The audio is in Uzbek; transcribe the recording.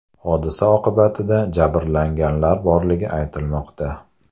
Hodisa oqibatida jabrlanganlar borligi aytilmoqda.